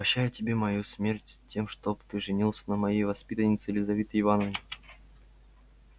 прощаю тебе мою смерть с тем чтоб ты женился на моей воспитаннице лизавете ивановне